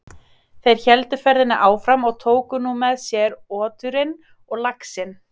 Þeir héldu ferðinni áfram og tóku nú með sér oturinn og laxinn.